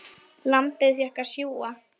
Lambið fékk að sjúga.